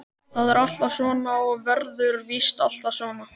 Það er alltaf svona og verður víst alltaf svona.